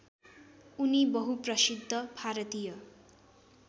उनी बहुप्रसिद्ध भारतीय